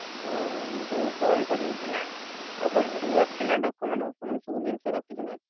ହଉ ହଉ ମୁଁ ତମକୁ call କରିମି ହେଲା। ଆଉ ସବୁ ଅଛିନା document ସବୁ ଜିନିଷ ରଖିଚୁ ନା?